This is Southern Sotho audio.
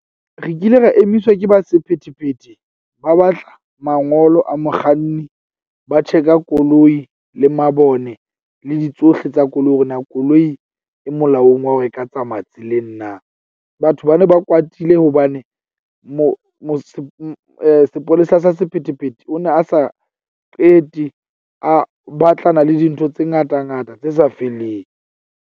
Re kile ra emiswa ke ba sephethephethe. Ba batla mangolo a mokganni, ba check-a koloi le mabone le di tsohle tsa koloi hore na koloi e molaong wa hore e ka tsamaya tseleng na. Batho ba ne ba kwatile hobane sepolesa sa sephethephethe o ne a sa qete a batlana le dintho tse ngata ngata tse sa feleng.